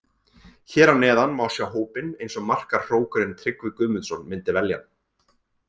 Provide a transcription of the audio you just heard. Hér að neðan má sjá hópinn eins og markahrókurinn Tryggvi Guðmundsson myndi velja hann.